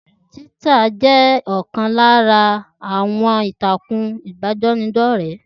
Tíwíttà jẹ́ ọ̀kan lára àwọn ìtàkùn ìbánidọ́rẹ́